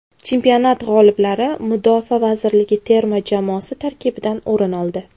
Chempionat g‘oliblari Mudofaa vazirligi terma jamoasi tarkibidan o‘rin oldi.